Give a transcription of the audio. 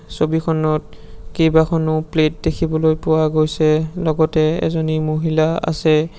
ছবিখনত কেইবাখনো প্লেট দেখিবলৈ পোৱা গৈছে লগতে এজনী মহিলা আছে।